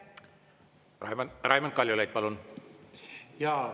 Raimond Kaljulaid, palun!